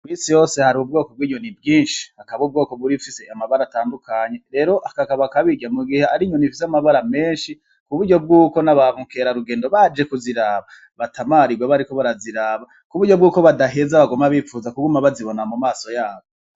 Mw'isi yose hari ubwoko bw'inyoni bwinshi, hakaba ubwoko bw'izifise amabara atandukanye, rero kakaba akabirya mu gihe ari inyoni ifise amabara menshi ku buryo bwuko n'aba mukerarugendo baje kuziraba batamarigwa bariko baraziraba, ku buryo bwuko badaheza baguma bipfuza kuguma bazibona mu maso yabo.